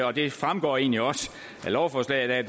og det fremgår egentlig også af lovforslaget at